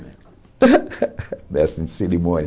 Mestre de cerimônia.